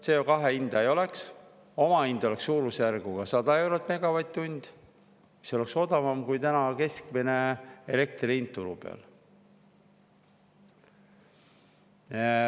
CO2 hinda ei oleks, omahind oleks suurusjärgus 100 eurot megavatt-tund – see oleks odavam kui täna keskmine elektri hind turul.